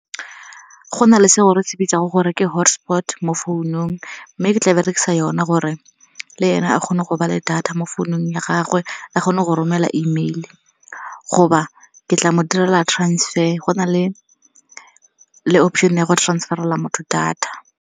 Go na le seo re se bitsang gore ke hotspot mo founung, mme ke tla berekisa yone gore le ene a kgone go ba le data mo founung ya gagwe, a kgone go romela email-e. Goba ke tla mo direla transfer, go na le option a go transfer-ela motho data.